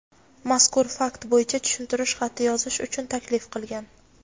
mazkur fakt bo‘yicha tushuntirish xati yozishi uchun taklif qilgan.